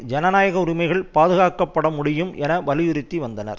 ஜனநாயக உரிமைகள் பாதுகாக்கப்பட முடியும் என வலியுறுத்தி வந்தனர்